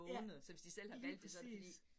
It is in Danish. Ja, lige præcis